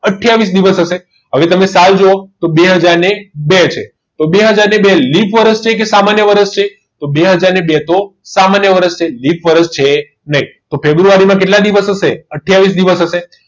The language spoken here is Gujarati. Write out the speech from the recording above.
આથીયાવીસ દિવસ હશે હવે તમે સારું જુઓ તો બે હજાર ને બે છે તો બે હજાર બે એ લીપ વર્ષ કે સામાન્ય વર્ષ છે તો બે હજાર ના બે તો સામાન્ય વર્ષ છે લીપ વરસ છે નહીં તો ફેબ્રુઆરીમાં કેટલા દિવસ હશે આથીયાવીસ દિવસ હશે